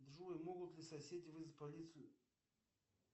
джой могут ли соседи вызвать полицию